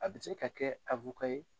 A bɛ se ka kɛ ye.